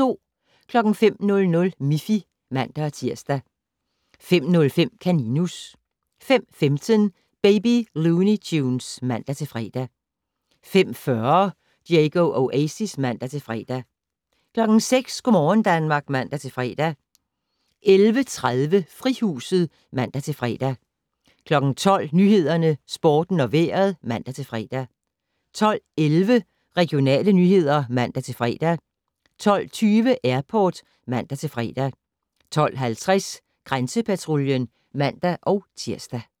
05:00: Miffy (man-tir) 05:05: Kaninus 05:15: Baby Looney Tunes (man-fre) 05:40: Diego Oasis (man-fre) 06:00: Go' morgen Danmark (man-fre) 11:30: Frihuset (man-fre) 12:00: Nyhederne, Sporten og Vejret (man-fre) 12:11: Regionale nyheder (man-fre) 12:20: Airport (man-fre) 12:50: Grænsepatruljen (man-tir)